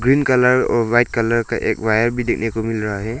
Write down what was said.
Green colour और white colour का एक वायर भी देखने को मिल रहा है।